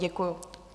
Děkuji.